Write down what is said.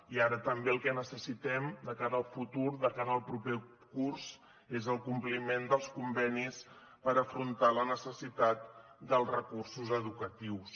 i ara també el que necessitem de cara al futur de cara al proper curs és el compliment dels convenis per afrontar la necessitat dels recursos educatius